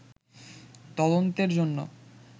তদন্তের জন্য